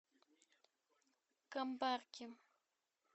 камбарки